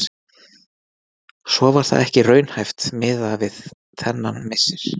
Svo var það ekki raunhæft miða við þennan missir.